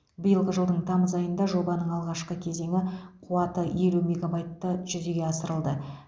биылғы жылдың тамыз айында жобаның алғашқы кезеңі қуаты елу мегабайтты жүзеге асырылды